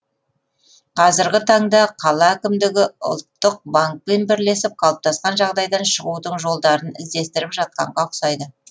қазіргі таңда қала әкімдігі ұлттық банкпен бірлесіп қалыптасқан жағдайдан шығудың жолдарын іздестіріп жатқанға ұқсайды